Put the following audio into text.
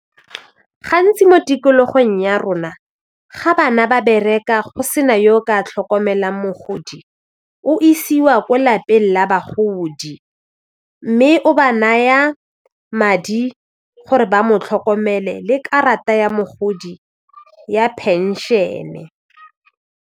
Gantsi mo tikologong ya rona ga bana ba bereka go se na yo o ka tlhokomelang mogodi o isiwa ko lapeng la bagodi mme o ba naya madi gore ba mo tlhokomele le karata ya mogodi ya phenšene.